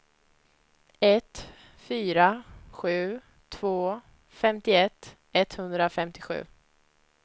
ett fyra sju två femtioett etthundrafemtiosju